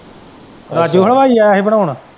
ਰਾਜੂ ਦਾ ਭਾਜੀ ਆਇਆ ਸੀ ਬਣਾਉਣ।